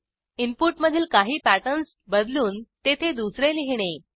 इनपुटमधील काही पॅटर्न्स बदलून तेथे दुसरे लिहिणे